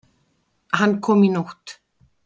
Hann kom í nótt.